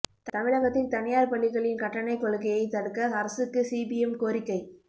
தமிழகத்தில் தனியார் பள்ளிகளின் கட்டணக் கொள்ளையைத் தடுக்க அரசுக்கு சிபிஎம் கோரிக்கை